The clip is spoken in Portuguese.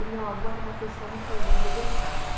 E meu avô era uma pessoa muito, vamos dizer, versátil.